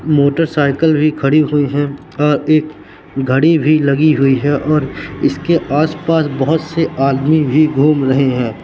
Motorcycle भी खड़ी हुई है और एक घड़ी भी लगी हुई है और उसके आसपास बहुत से आदमी भी घूम रहे हैं।